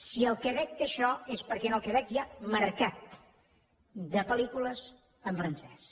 si el quebec té això és perquè en el quebec hi ha mercat de pel·lícules en francès